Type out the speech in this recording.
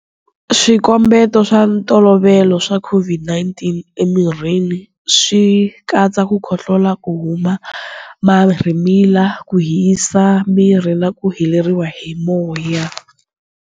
Swikombeto swa ntolovelo swa COVID-19 emirini swi katsa ku khohlola, ku huma marhimila, ku hisa miri na ku heleriwa hi moya.